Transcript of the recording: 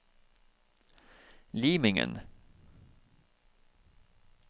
Limingen